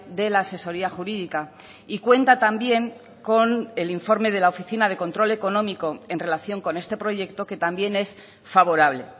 de la asesoría jurídica y cuenta también con el informe de la oficina de control económico en relación con este proyecto que también es favorable